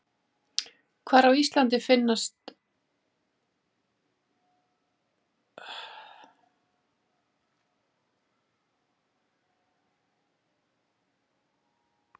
Hvar á Íslandi finnst skógarmítill aðallega?